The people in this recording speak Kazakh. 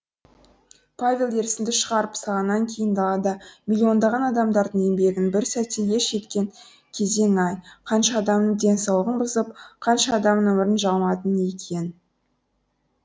павел ерсінді шығарып салғаннан кейін далада миллиондаған адамдардың еңбегін бір сәтте еш еткен кезең ай қанша адамның денсауллығын бұзып қанша адамның өмірін жалмадың екен